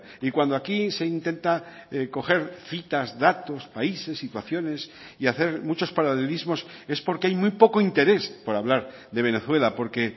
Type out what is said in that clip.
y cuando aquí se intenta coger citas datos países situaciones y hacer muchos paralelismos es porque hay muy poco interés por hablar de venezuela porque